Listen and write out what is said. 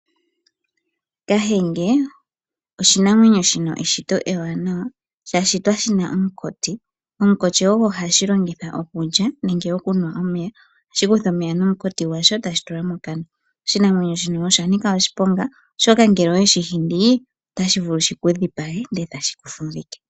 Kahenge oshinamwenyo shina eshito ewanawa, sha shitwa shina omukoti. Omukoti ogo hashi longitha okulya, nenge okunwa omeya. Ohashi kutha omeya nomukoti gwasho, e tashi tula mokana. Oshinamwenyo shino osha nika oshiponga, oshoka ngele oweshi hindi, otashi vulu shiku dhipage, e tashi ku fumvike.